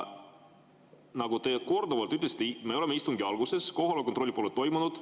Nagu te korduvalt olete öelnud, me oleme istungi alguses, ja kohaloleku kontrolli pole toimunud.